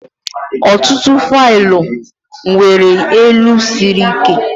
Ọtụtụ faịlụ nwere elu siri ike.